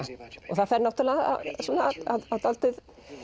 og það fer náttúrulega svona á dálítið